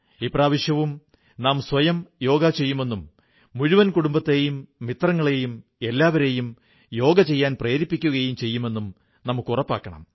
ഇപ്രാവശ്യവും നാം സ്വയം യോഗ ചെയ്യുമെന്നും മുഴുവൻ കുടുംബത്തെയും മിത്രങ്ങളെയും എല്ലാവരെയും യോഗ ചെയ്യാൻ പ്രേരിപ്പിക്കുകയും ചെയ്യുമെന്നും നമുക്ക് ഉറപ്പാക്കണം